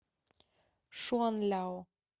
шуанляо